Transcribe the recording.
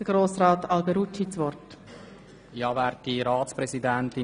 Im Moment geht es um die Rückweisung.